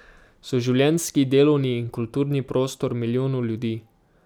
So življenjski, delovni in kulturni prostor milijonov ljudi.